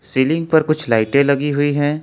Ceiling पर कुछ लाइटे लगी हुई है।